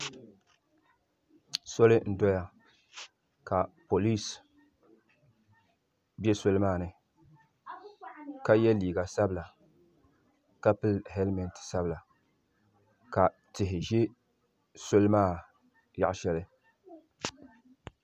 Soli n doya ka polisi be soli maa ni ka ye liiga sabila ka pili helimenti sabila ka tihi be soli maa yaɣa sheli .